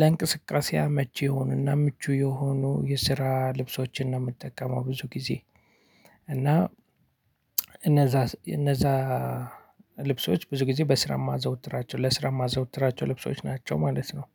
ለእንቅስቃሴ አመቺ የሆኑና ምቹ የሆኑ የስራ ልብሶችን ነው የምትጠቀመው ብዙ ጊዜ። እና እነዛ እነዛ ልብሶች ብዙ ጊዜ በስራ የማዘወትራቸው ለስራ የማዘወትራቸው ልብሶች ናቸው ማለት ነው